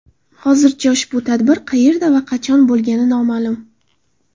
Hozircha ushbu tadbir qayerda va qachon bo‘lgani noma’lum.